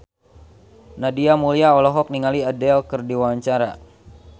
Nadia Mulya olohok ningali Adele keur diwawancara